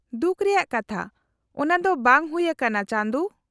-ᱫᱩᱠ ᱨᱮᱭᱟᱜ ᱠᱟᱛᱷᱟ, ᱚᱱᱟᱫᱚ ᱵᱟᱝ ᱦᱩᱭ ᱟᱠᱟᱱᱟ, ᱪᱟᱸᱫᱩ ᱾